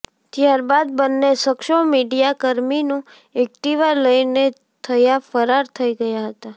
ત્યારબાદ બંને શખ્સો મીડિયાકર્મીનું એક્ટિવા લઈને થયા ફરાર થઈ ગયાં હતાં